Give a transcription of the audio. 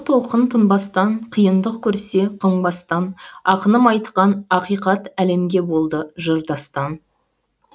толқын тынбастан қиындық көрсе қыңбастан ақыным айтқан ақиқат әлемге болды жыр дастан